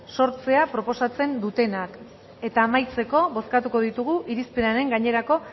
sortzea proposatzen dutenak eta amaitzeko bozkatuko ditugu irizpenaren gainerako